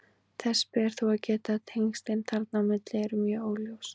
Þess ber þó að geta að tengslin þarna á milli eru mjög óljós.